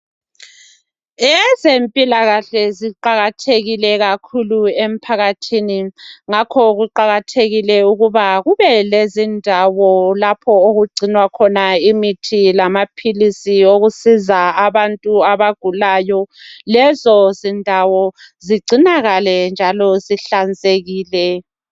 Ezempilakahle ziqakathekile kakhulu emphakathini. Ngakho kuqakathekile ukuba kube lezindawo lapho okugcinwa khona imithi lamaphilisi okusiza abantu abagulayo. Lezo zindawo zigcinakale njalo zihlanzekile.